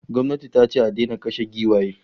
Gwamnati tace a daina kashe giwaye